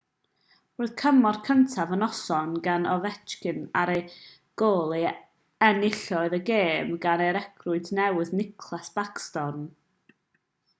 roedd cymorth cyntaf y noson gan ovechkin ar y gôl a enillodd y gêm gan y recriwt newydd nicklas backstrom